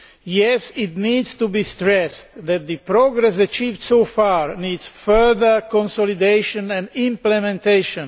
Yes, it needs to be stressed that the progress achieved so far needs further consolidation and implementation.